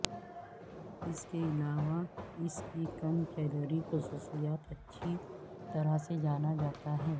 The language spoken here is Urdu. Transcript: اس کے علاوہ اس کی کم کیلوری خصوصیات اچھی طرح سے جانا جاتا ہے